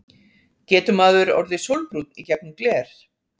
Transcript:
Getur maður orðið sólbrúnn í gegnum gler?